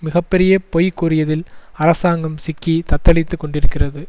மிக பெரிய பொய் கூறியதில் அரசாங்கம் சிக்கி தத்தளித்து கொண்டிருக்கிறது